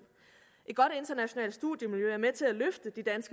et godt internationalt studiemiljø